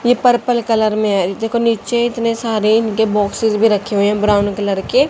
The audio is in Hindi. ये पर्पल कलर मे है देखो निचे इतने सारे इनके बॉक्सेस भी रखे हुए ब्राउन कलर के--